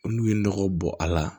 N'u ye nɔgɔ bɔ a la